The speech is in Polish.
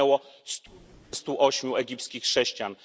zginęło 108 egipskich chrześcijan.